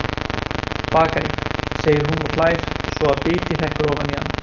Bakari, segir hún og hlær svo að biti hrekkur ofan í hana.